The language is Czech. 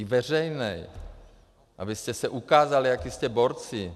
I veřejný, abyste se ukázali, jací jste borci.